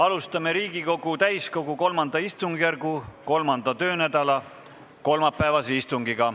Alustame Riigikogu täiskogu III istungjärgu 3. töönädala kolmapäevast istungit.